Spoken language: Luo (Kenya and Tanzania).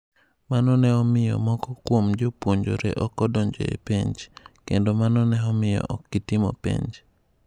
Mano ne omiyo moko kuom jopuonjre ok odonjo e penj, kendo mano ne omiyo ok gitimo penj.